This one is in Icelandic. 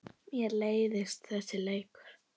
Mér leiðist þessi leikur.